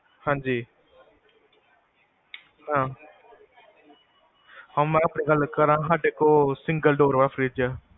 ਹਾਂਜੀ, ਹਾਂ, ਹਾਂ ਮੈਂ ਗਲ ਕਰ ਰਿਆ ਹਾਂ, ਸਾਡੇ ਕੋਲ single door ਵਾਲਾ fridge ਹੈ